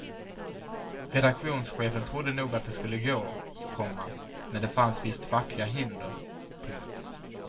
Redaktionschefen trodde nog att det skulle gå, komma men det fanns visst fackliga hinder. punkt